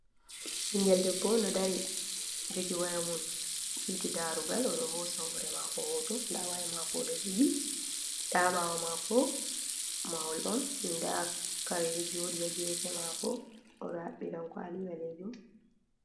Bingel debbo do dari jogi waya mum titi darugal, odo hosa hore mako hoto da waya mako do jogi dabawo mako mahol on da kare Jodi ya hagefe mako odo habbi dankwali balejum.